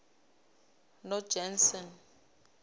nojanson